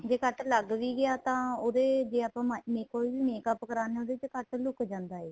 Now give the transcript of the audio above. ਜੇ ਕੱਟ ਲੱਗ ਵੀ ਗਿਆ ਤਾਂ ਉਹਦੇ ਜੇ ਆਪਾਂ ਕੋਈ ਵੀ makeup ਕਰਾਦੇ ਹਾਂ ਉਹਦੇ ਵਿੱਚ ਕੱਟ ਲੁੱਕ ਜਾਂਦਾ ਏ